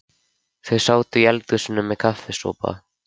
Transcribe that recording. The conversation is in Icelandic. Þau sátu í eldhúsinu með kaffisopa.